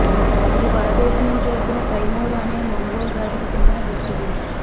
ఇది పరదేశం నుంచి వచ్చిన తైమూరు అనే మంగోల్ జాతికి చెందిన వ్యక్తిది